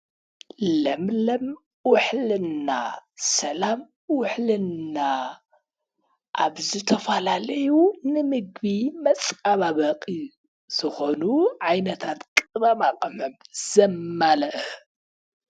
ለምለም ውሕልና ፣ሰላም ውሕልና ኣብ ዝተፈላለዩ ንምግቢ መፀባበቂ ዝኾኑ ዓይነታት ቅመማ ቅመም ዘማለአ።